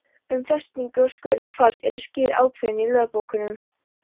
Um festingu og skurð hvals eru skýr ákvæði í lögbókunum.